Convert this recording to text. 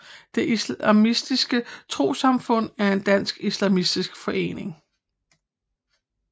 Det Islamiske Trossamfund er en dansk islamisk forening